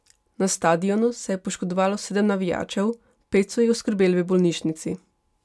Na stadionu se je poškodovalo sedem navijačev, pet so jih oskrbeli v bolnišnici.